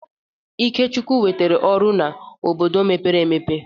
Ikechukwu nwetara ọrụ n'obodo mepere emepe.